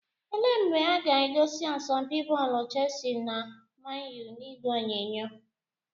Ele mgbe aga egosi asọmpi bọọlụ Chelsea na Man U n'ìgwè onyonyo?